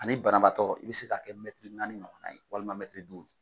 Ani banabaatɔ i bɛ se ka kɛ mɛtiri naani ɲɔgɔnna ye walima mɛtiri duuru